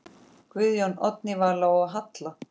Guðjón, Oddný Vala og Halla.